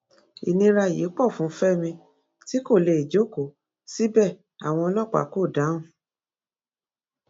ìnira yìí pọ fún fẹmi tí kò lè jókòó síbẹ àwọn ọlọpàá kò dáhùn